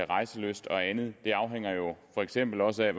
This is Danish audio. rejselyst og andet det afhænger jo for eksempel også af